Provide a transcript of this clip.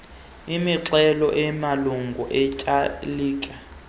imixhelo yamalungu etyaalike